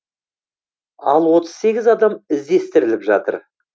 ал отыз сегіз адам іздестіріліп жатыр